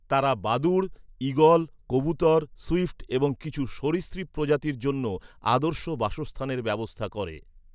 তারা বাদুড়, ঈগল, কবুতর, সুইফট এবং কিছু সরীসৃপ প্রজাতির জন্য আদর্শ বাসস্থানের ব্যবস্থা করে।